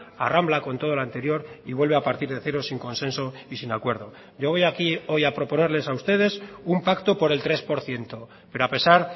arrambla con todo lo anterior y vuelve a partir de cero sin consenso y sin acuerdo yo voy aquí hoy a proponerles a ustedes un pacto por el tres por ciento pero a pesar